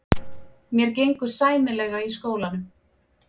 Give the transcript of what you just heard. Mér gengur sæmilega í skólanum.